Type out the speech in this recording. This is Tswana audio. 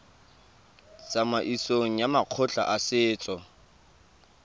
tsamaisong ya makgotla a setso